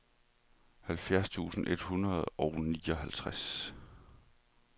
halvfjerds tusind et hundrede og nioghalvtreds